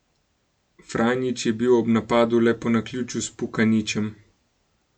Franjić je bil ob napadu le po naključju s Pukanićem.